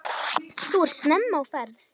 Þú ert snemma á ferð!